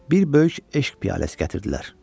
Bir böyük eşq piyaləsi gətirdilər.